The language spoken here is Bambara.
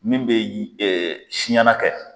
Min bɛ siɲana kɛ.